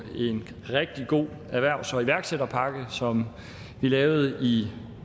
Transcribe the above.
en rigtig god erhvervs og iværksætterpakke som vi lavede i